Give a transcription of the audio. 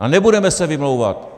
A nebudeme se vymlouvat!